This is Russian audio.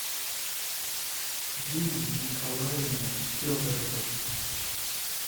юлии николаевны федоровой